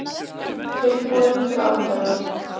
Tilbúin til aðgerða